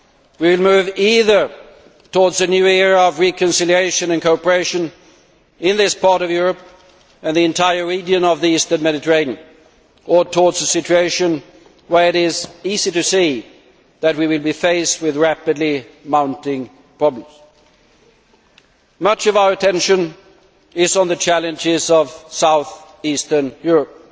We will move either towards a new era of reconciliation and cooperation in this part of Europe and the entire region of the eastern Mediterranean, or towards a situation where it is easy to see that we will be faced with rapidly mounting problems. Much of our attention is on the challenges of south eastern Europe,